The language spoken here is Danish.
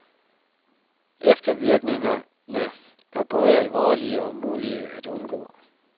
Eftervirkningerne er både alvorlige og umulige at undgå.